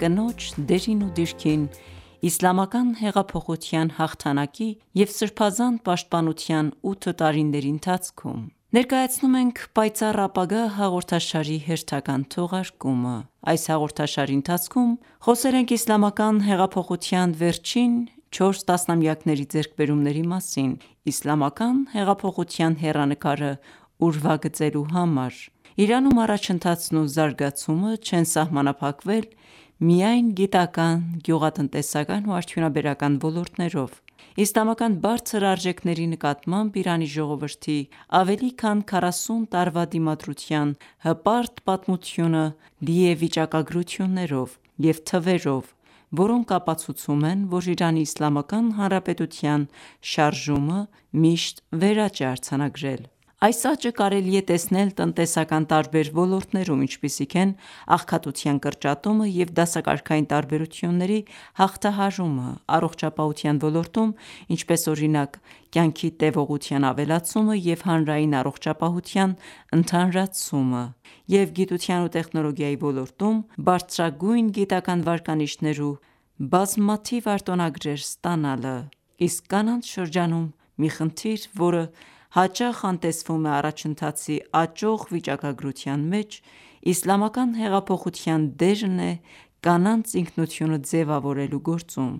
կնոջ դերին ու դիրքին իսլամական հեղափոխության հաղթանակի և սրբազան պաշտպանության ութ տարիների ընթացքում: Ողջույն Ձեզ, հարգելի ունկնդիրներ: Ներկայացնում ենք «Պայծառ ապագա» հաղորդաշարի հերթական թողարկումը: Այս հաղորդաշարի ընթացքում խոսել ենք Իսլամական հեղափոխության վերջին 4 տասնամյակների ձեռքբերումների մասին՝ Իսլամական հեղափոխության հեռանկարը ուրվագծելու համար։ Իրանում առաջընթացն ու զարգացումը չեն սահմանափակվել միայն գիտական, ​​գյուղատնտեսական ու արդյունաբերական ոլորտներով: Իսլամական բարձր արժեքների նկատմամբ Իրանի ժողովրդի ավելի քան քառասուն տարվա դիմադրության հպարտ պատմությունը լի է վիճակագրություններով և թվերով, որոնք ապացուցում են, որ Իրանի Իսլամական Հանրապետության շարժումը միշտ վերաճ է արձանագրել: Այս աճը կարելի է տեսնել տնտեսական տարբեր ոլորտներում, ինչպիսիք են աղքատության կրճատումը և դասակարգային տարբերությունների հաղթահարումը, առողջապահության ոլորտում, ինչպես օրինակ՝ կյանքի տեւողության ավելացումը և հանրային առողջապահության ընդհանրացումը, և գիտության ու տեխնոլոգիայի ոլորտում՝ բարձրագույն գիտական ​​վարկանիշներ ու բազմաթիվ արտոնագրեր ստանալը: Իսկ կանանց շրջանում մի խնդիր, որը հաճախ անտեսվում է առաջընթացի աճող վիճակագրության մեջ, Իսլամական հեղափոխության դերն է կանանց ինքնությունը ձևավորելու գործում: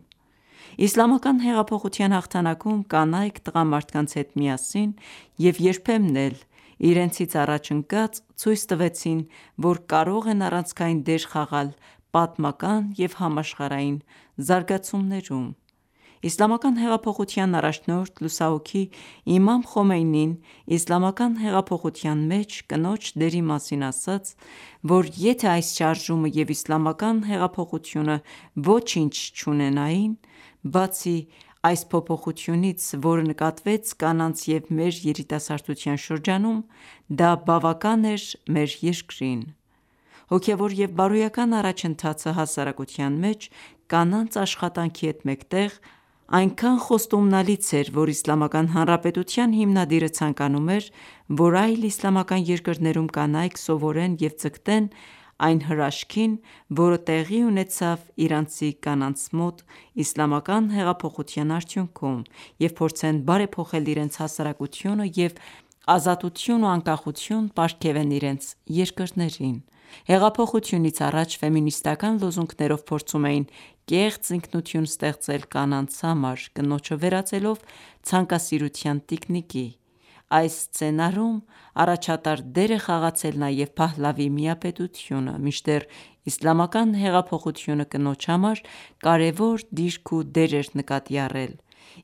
Իսլամական հեղափոխության հաղթանակում կանայք տղամարդկանց հետ միասին և երբեմն էլ իրենցից առաջ ընկած, ցույց տվեցին, որ կարող են առանցքային դեր խաղալ պատմական և համաշխարհային զարգացումներում: Իսլամական հեղափոխության առաջնորդ լուսահոգի Իմամ Խոմեյնին Իսլամական հեղափոխության մեջ կնոջ դերի մասին ասաց, որ եթե այս շարժումը և Իսլամական հեղափոխությունը ոչինչ չունենային, բացի այս փոփոխությունից, որը նկատվեց կանանց և մեր երիտասարդության շրջանում, դա բավական էր մեր երկրին։ Հոգևոր և բարոյական առաջընթացը, հասարակության մեջ կանանց աշխատանքի հետ մեկտեղ, այնքան խոստումնալից էր, որ Իսլամական Հանրապետության հիմնադիրը ցանկանում էր, որ այլ իսլամական երկրներում կանայք սովորեն և ձգտեն այն հրաշքին, որը տեղի ունեցավ իրանցի կանանց մոտ Իսլամական հեղափոխության արդյունքում և փորձեն բարեփոխել իրենց հասարակությունը և ազատություն ու անկախություն պարգևեն իրենց երկրներին: Հեղափոխությունից առաջ ֆեմինիստական ​​լոզունգներով փորձում էին կեղծ ինքնություն ստեղծել կանանց համար՝ կնոջը վերածելով ցանկասիրության տիկնիկի։ Այս սցենարում առաջատար դեր է խաղացել նաև Փահլավի միապետությունը։ Մինչդեռ Իսլամական հեղափոխությունը կնոջ համար կարևոր դիրք ու դեր էր նկատի առել։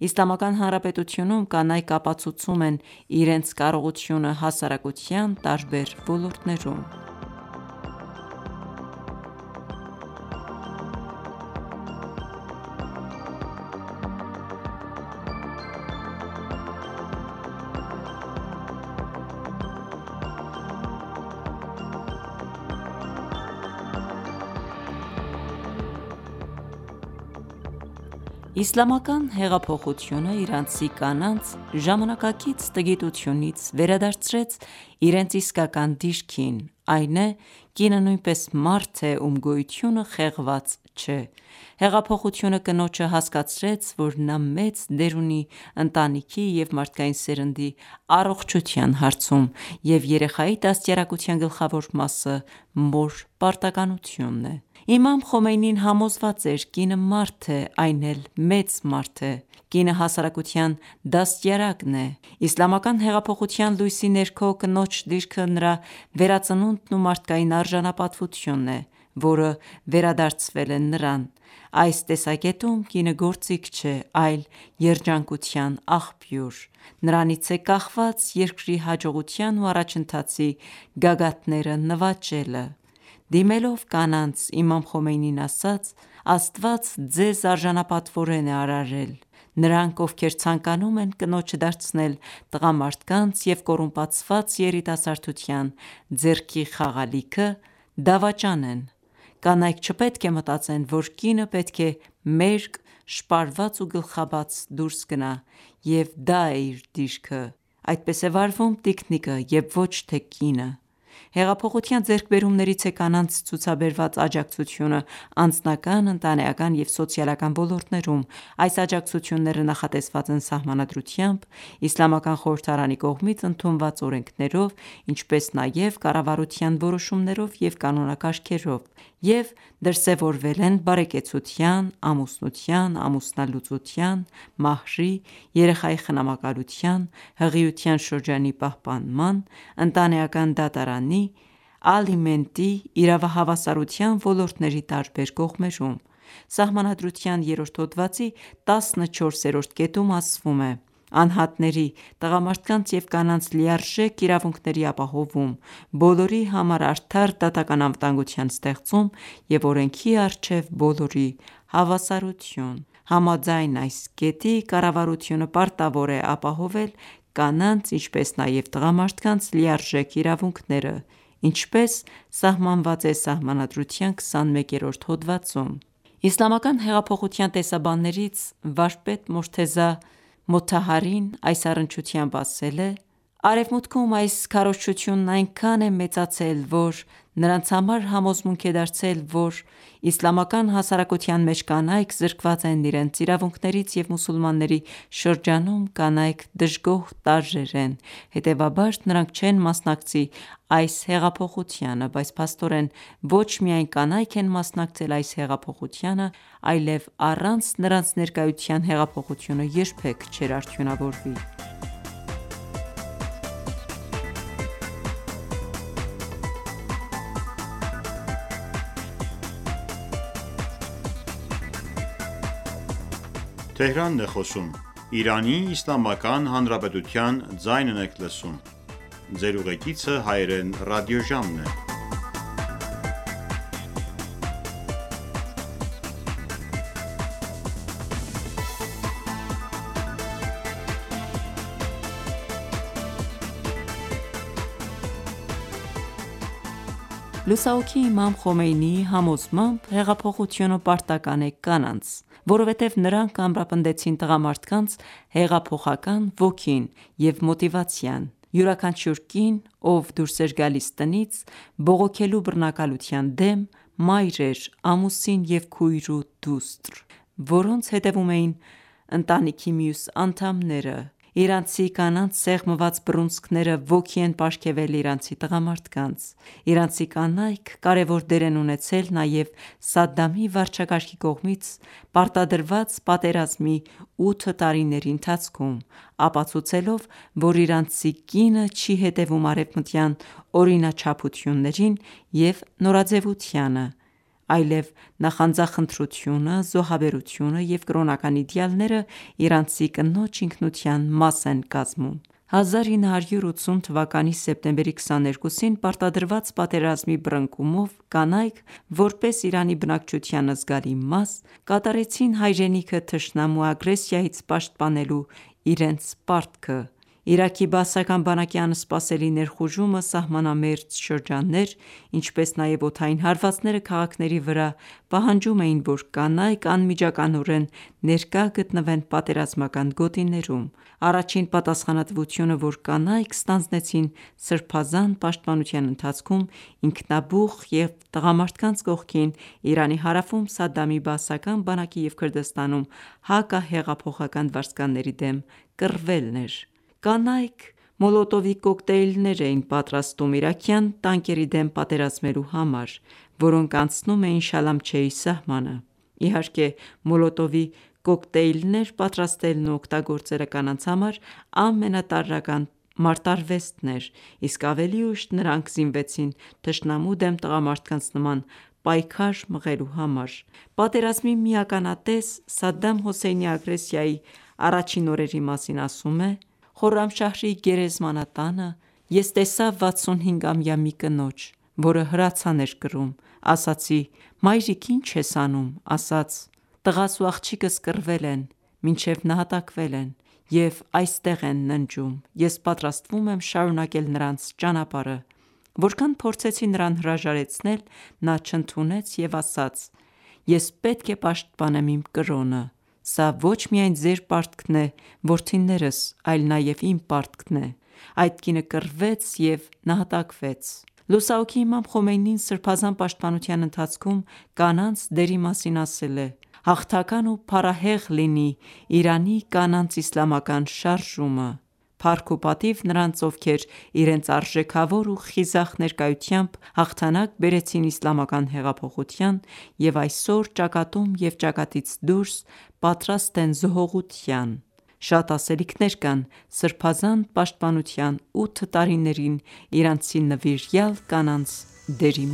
Իսլամական Հանրապետությունում կանայք ապացուցում են իրենց կարողությունները հասարակության տարբեր ոլորտներում: Իսլամական հեղափոխությունը իրանցի կանանց ժամանակակից տգիտությունից վերադարձրեց իրենց իսկական դիրքին, այն է՝ կինը նույնպես մարդ է, ում գոյությունը խեղված չէ։ Հեղափոխությունը կնոջը հասկացրեց, որ նա մեծ դեր ունի ընտանիքի և մարդկային սերնդի առողջության հարցում և երեխայի դաստիարակության գլխավոր մասը մոր պարտականությունն է: Իմամ Խոմեյնին համոզված էր. «Կինը մարդ է, այն էլ մեծ մարդ է։ Կինը հասարակության դաստիարակն է»: Իսլամական հեղափոխության լույսի ներքո կնոջ դիրքը նրա վերածնունդն ու մարդկային արժանապատվությունն է, որը վերադարձվել է նրան։ Այս տեսակետում, կինը գործիք չէ, այլ երջանկության աղբյուր։ Նրանից է կախված երկրի հաջողության ու առաջընթացի գագաթները նվաճելը։ Դիմելով կանանց, Իմամ Խոմեյնին ասաց. «Աստված ձեզ արժանապատվորեն է արարել…: Նրանք, ովքեր ցանկանում են կնոջը դարձնել տղամարդկանց և կոռումպացված երիտասարդության ձեռքի խաղալիքը, դավաճան են. Կանայք չպետք է մտածեն, որ կինը պետք է մերկ, շպարված ու գլխաբաց դուրս գնա և դա է իր դիրքը։ Այդպես է վարվում տիկնիկը և ոչ թե կինը: Հեղափոխության ձեռքբերումներից է կանանց ցուցաբերված աջակցությունը անձնական, ընտանեկան և սոցիալական ոլորտներում։ Այս աջակցությունները նախատեսված են սահմանադրությամբ, Իսլամական Խորհրդարանի կողմից ընդունված օրենքներով, ինչպես նաև կառավարության որոշումներով և կանոնակարգերով, և դրսևորվել են բարեկեցության, ամուսնության, ամուսնալուծության, մահրի, երեխայի խնամակալության, հղիության շրջանի պահպանման, ընտանեկան դատարանի, ալիմենտի, իրավահավասարության ոլորտների տարբեր կողմերում: Սահմանադրության երրորդ հոդվածի 14-րդ կետում ասվում է. «Անհատների՝ տղամարդկանց և կանանց լիարժեք իրավունքների ապահովում, բոլորի համար արդար դատական ​​անվտանգության ստեղծում և օրենքի առջև բոլորի հավասարություն»: Համաձայն այս կետի՝ կառավարությունը պարտավոր է ապահովել կանանց, ինչպես նաև տղամարդկանց լիարժեք իրավունքները, ինչպես սահմանված է Սահմանադրության 21-րդ հոդվածում: Իսլամական հեղափոխության տեսաբաններից վարպետ Մորթեզա Մոթահարին այս առնչությամբ ասել է. «Արևմուտքում այս քարոզչությունն այնքան է մեծացել, որ նրանց համար համոզմունք է դարձել, որ իսլամական հասարակության մեջ կանայք զրկված են իրենց իրավունքներից և մուսուլմանների շրջանում կանայք դժգոհ տարրեր են...: Հետևաբար նրանք չեն մասնակցի այս հեղափոխությանը։ Բայց փաստորեն ոչ միայն կանայք են մասնակցել այս հեղափոխությանը, այլեւ առանց նրանց ներկայության հեղափոխությունը երբեք չէր արդյունավորվի»: Լուսահոգի Իմամ Խոմեյնի.«Առանց կանանց ներկայության հեղափոխությունը երբեք չէր արդյունավորվի»: Լուսահոգի Իմամ Խոմեյնինի համոզմամբ, հեղափոխությունը պարտական ​​է կանանց, որովհետև նրանք ամրապնդեցին տղամարդկանց հեղափոխական ոգին և մոտիվացիան։ Յուրաքանչյուր կին, ով դուրս էր գալիս տնից՝ բողոքելու բռնակալության դեմ, մայր էր, ամուսին և քույր ու դուստր, որոնց հետևում էին ընտանիքի մյուս անդամները: Իրանցի կանանց սեղմված բռունցքները ոգի են պարգևել իրանցի տղամարդկանց: Իրանցի կանայք կարևոր դեր են ունեցել նաև Սադամի վարչակարգի կողմից պարտադրված պատերազմի ութ տարիների ընթացքում՝ ապացուցելով, որ իրանցի կինը չի հետևում արևմտյան օրինաչափություններին և նորաձևությանը, այլև նախանձախնդրությունը, զոհաբերությունը և կրոնական իդեալները իրանցի կնոջ ինքնության մաս են կազմում: 1980 թվականի սեպտեմբերի 22-ին, պարտադրված պատերազմի բռնկումով, կանայք, որպես Իրանի բնակչության զգալի մաս, կատարեցին հայրենիքը թշնամու ագրեսիայից պաշտպանելու իրենց պարտքը։ Իրաքի բաասական բանակի անսպասելի ներխուժումը սահմանամերձ շրջաններ, ինչպես նաև օդային հարվածները քաղաքների վրա պահանջում էին, որ կանայք անմիջականորեն ներկա գտնվեն պատերազմական գոտիներում: Առաջին պատասխանատվությունը, որ կանայք ստանձնեցին Սրբազան պաշտպանության ընթացքում ինքնաբուխ և տղամարդկանց կողքին Իրանի հարավում Սադամի բաասական բանակի և Քրդստանում հակահեղափոխական վարձկանների դեմ կռվելն էր: Կանայք մոլոտովի կոկտեյլներ էին պատրաստում իրաքյան տանկերի դեմ պատերազմելու համար, որոնք անցնում էին Շալամչեի սահմանը։ Իհարկե, մոլոտովի կոկտեյլներ պատրաստելն ու օգտագործելը կանանց համար ամենատարրական մարտարվեստն էր, իսկ ավելի ուշ նրանք զինվեցին թշնամու դեմ տղամարդկանց նման պայքար մղելու համար։ Պատերազմի մի ականատես Սադդամ Հոսեյնի ագրեսիայի առաջին օրերի մասին ասում է.«Խորրամշահրի գերեզմանատանը ես տեսա 65-ամյա մի կնոջ, որը հրացան էր կրում: Ասացի՝ մայրիկ, ի՞նչ ես անում։ Ասաց. «Տղաս ու աղջիկս կռվել են, մինչև նահատակվել են, և այստեղ են ննջում։ Ես պատրաստվում եմ շարունակել նրանց ճանապարհը: Որքան փորձեցի նրան հրաժարեցնել, նա չընդունեց և ասաց՝ ես պետք է պաշտպանեմ իմ կրոնը։ Սա ոչ միայն ձեր պարտքն է, որդինե՛րս, այլ նաև իմ պարտքն է: Այդ կինը կռվեց և նահատակվեց»: Լուսահոգի Իմամ Խոմեյնին Սրբազան պաշտպանության ընթացքում կանանց դերի մասին ասել է.«Հաղթական ու փառահեղ լինի Իրանի կանանց իսլամական շարժումը։ Փառք ու պատիվ նրանց, ովքեր իրենց արժեքավոր ու խիզախ ներկայությամբ հաղթանակ բերեցին իսլամական հեղափոխության և այսօր ճակատում և ճակատից դուրս պատրաստ են զոհողության: Շատ ասելիքներ կան սրբազան պաշտպանության ութ տարիներին իրանցի նվիրյալ կանանց դերի